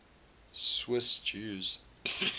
swiss jews